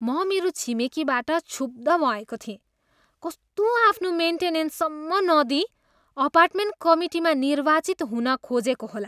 म मेरो छिमेकीबाट क्षुब्ध भएको थिएँ, कस्तो आफ्नो मेन्टेनेन्ससम्म नदिई अपार्टमेन्ट कमिटीमा निर्वाचित हुन खोजेको होला।